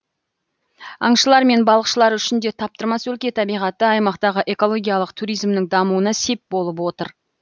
аңшылар мен балықшылар үшін де таптырмас өлке табиғаты аймақтағы экологиялық туризмнің дамуына сеп болып отыр